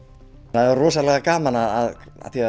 það er rosalega gaman að